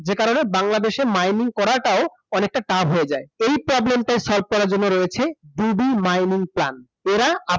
যে কারণে বাংলাদেশে mining করাটাও অনেকটা tough হয়ে যায় এই প্রবলেমটা solve করার জন্য রয়েছে mining plan এরা